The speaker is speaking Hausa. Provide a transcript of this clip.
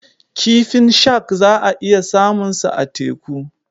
Kifin shak za a iya samunsa a teku.